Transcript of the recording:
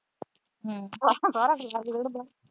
ਸਾਰਾ ਸੰਸਾਰ ਹੀ ਰੁੜ ਗਿਆ।